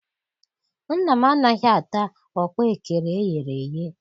Nna m anaghị ata ọkpaekere eyere eye.